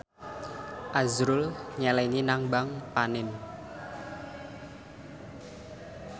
azrul nyelengi nang bank panin